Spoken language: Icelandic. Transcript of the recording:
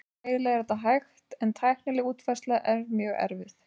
Fræðilega er þetta hægt en tæknileg útfærsla er mjög erfið.